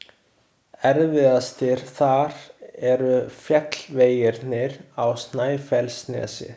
Erfiðastir þar eru fjallvegirnir á Snæfellsnesi.